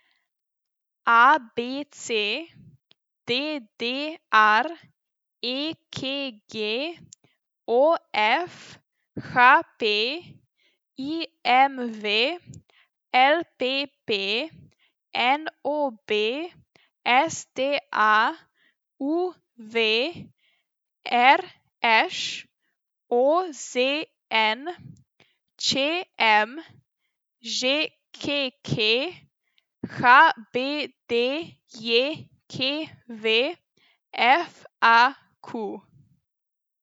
A B C; D D R; E K G; O F; H P; I M V; L P P; N O B; S T A; U V; R Š; O Z N; Č M; Ž K K; H B D J K V; F A Q.